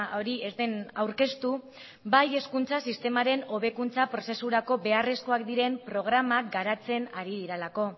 hori ez den aurkeztu bai hezkuntza sistemaren hobekuntza prozesurako beharrezkoak diren programak garatzen ari direlako